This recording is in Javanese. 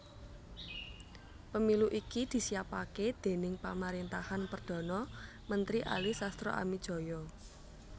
Pemilu iki disiapaké déning pamaréntahan Perdhana Mentri Ali Sastroamidjojo